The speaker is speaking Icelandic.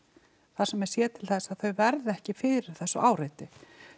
þar sem er séð til þess að þau verði ekki fyrir þessu áreiti